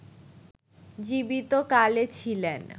জীবিত কালে ছিলেন